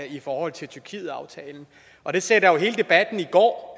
i forhold til tyrkietaftalen og det sætter jo hele debatten i går